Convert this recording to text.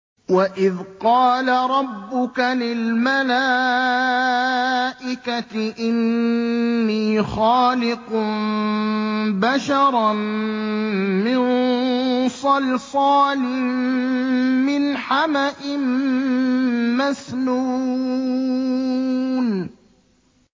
وَإِذْ قَالَ رَبُّكَ لِلْمَلَائِكَةِ إِنِّي خَالِقٌ بَشَرًا مِّن صَلْصَالٍ مِّنْ حَمَإٍ مَّسْنُونٍ